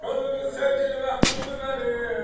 Könlüm sevgili məhbubi mənim.